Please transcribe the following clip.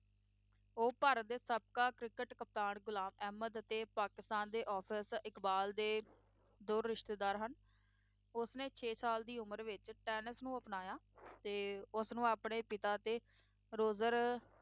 ਉਹ ਭਾਰਤ ਦੇ ਸਾਬਕਾ ਕ੍ਰਿਕਟ ਕਪਤਾਨ ਗੁਲਾਮ ਅਹਿਮਦ ਅਤੇ ਪਾਕਿਸਤਾਨ ਦੇ ਆਫਿਸ ਇਕਬਾਲ ਦੇ ਦੂਰ ਰਿਸ਼ਤੇਦਾਰ ਹਨ, ਉਸਨੇ ਛੇ ਸਾਲ ਦੀ ਉਮਰ ਵਿੱਚ ਟੈਨਿਸ ਨੂੰ ਅਪਣਾਇਆ ਤੇ ਉਸ ਨੂੰ ਆਪਣੇ ਪਿਤਾ ਅਤੇ ਰੋਜਰ